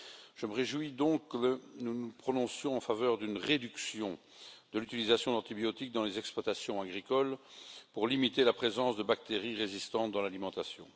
Je me réjouis donc que nous nous prononcions en faveur d'une réduction de l'utilisation d'antibiotiques dans les exploitations agricoles pour limiter la présence de bactéries résistantes dans l'alimentation.